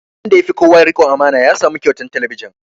Wanda ya fi kowa riƙon amana ya samu kyautan talabijin